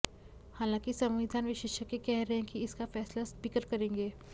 हालांकि संविधान विशेषज्ञ कह रहे हैं कि इसका फैसला स्पीकर करेंगे